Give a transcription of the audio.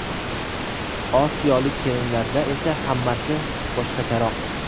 Osiyolik kelinlarda esa hammasi boshqacharoq.